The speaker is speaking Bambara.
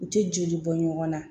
U tɛ joli bɔ ɲɔgɔn na